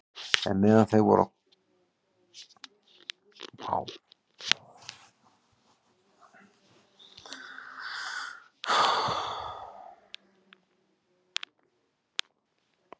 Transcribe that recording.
En meðan þau voru þar kom sá tími er hún skyldi verða léttari.